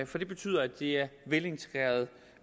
for det betyder at det er velintegrerede